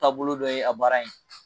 Taabolo dɔ ye a baara in ye